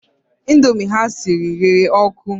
Indomie ha siri rere ọkụ